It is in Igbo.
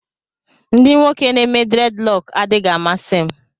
Ndị nwoke n'eme dreadlock adịghị amasị m